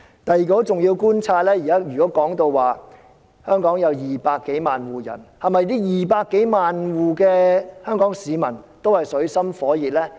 第二個很重要的觀察是，如果說香港有200多萬戶人，那是否這200多萬戶的香港市民均處於水深火熱中呢？